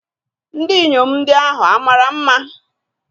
ndinyom ndi ahu mara nma?